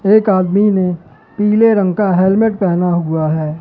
एक आदमी ने पीले रंग का हेलमेट पहेना हुआ है।